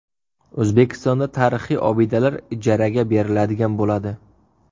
O‘zbekistonda tarixiy obidalar ijaraga beriladigan bo‘ladi.